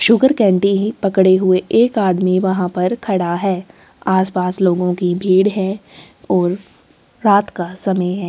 Sugar candy ही पकडे हुए एक आदमी वहाँ पर खड़ा है आस पास लोगो की भीड़ है और रात का समय है।